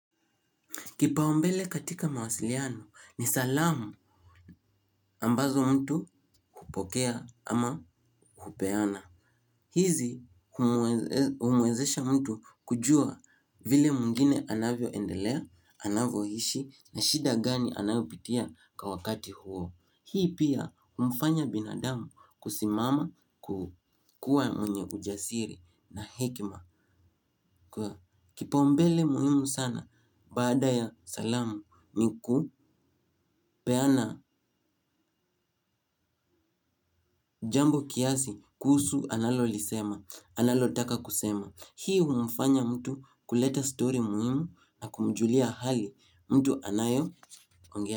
Kipaumbele katika mawasiliano ni salamu ambazo mtu hupokea ama kupeana. Hizi humwezesha mtu kujua vile mwingine anavyo endelea, anavyo ishi na shida gani anavyopitia kwa wakati huo. Hii pia humfanya binadamu kusimama kukua mwenye ujasiri na hekima. Kwa kipaumbele muhimu sana baada ya salamu ni ku peana jambo kiasi kuhusu analo lisema analotaka kusema. Hii humfanya mtu kuleta stori muhimu na kumjulia hali mtu anayo ongea.